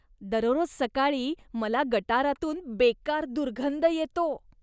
दररोज सकाळी मला गटारातून बेकार दुर्गंध येतो.